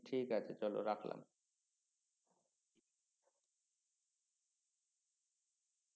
ঠিকআছে চলো রাখলাম